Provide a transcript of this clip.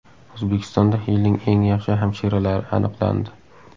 O‘zbekistonda yilning eng yaxshi hamshiralari aniqlandi.